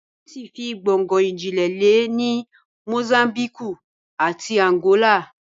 Pọ́tugíìsì fi gbongno ìjìnlẹ̀ lẹ̀ ní Mosámbíkù àti Ànàgólà